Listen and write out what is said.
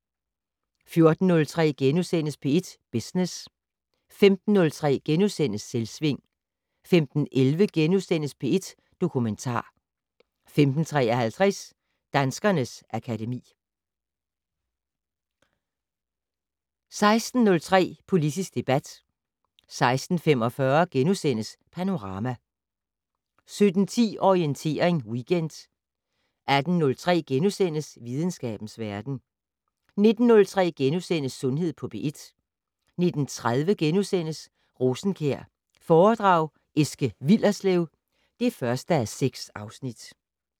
14:03: P1 Business * 15:03: Selvsving * 15:11: P1 Dokumentar * 15:53: Danskernes akademi 16:03: Politisk debat 16:45: Panorama * 17:10: Orientering Weekend 18:03: Videnskabens verden * 19:03: Sundhed på P1 * 19:30: Rosenkjær foredrag Eske Willerslev (1:6)*